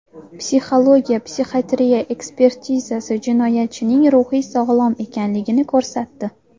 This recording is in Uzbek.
Psixologiya-psixiatriya ekspertizasi jinoyatchining ruhiy sog‘lom ekanligini ko‘rsatdi.